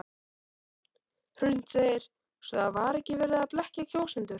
Hrund: Svo það var ekki verið að blekkja kjósendur?